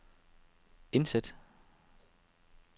indsæt